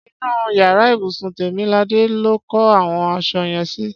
Ṣé inú yàrá ibùsùn Tèmiladé lo kó àwọn aṣọ yẹn sí?